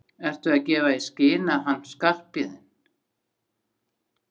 Ertu að gefa í skyn að hann Skarphéðinn.